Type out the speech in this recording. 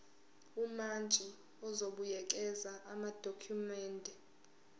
umantshi uzobuyekeza amadokhumende